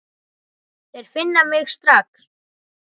Þeir finna mig strax.